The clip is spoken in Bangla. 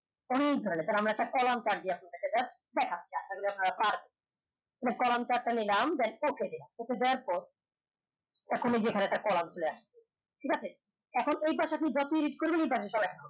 আমরা একটা কলাম কলাম chart টি আমরা নিলাম দেয়ার পর এখন এই যে কলাম একটা কলাম চলে আসছে ঠিক আছে এখন ওই পাশে যখন যতই read করবেন এই পাসে add হবে